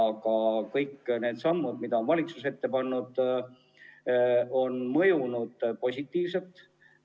Aga kõik need sammud, mis valitsus on astunud, on mõjunud positiivselt.